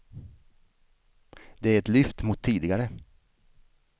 Det är ett lyft mot tidigare.